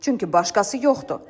Çünki başqası yoxdur.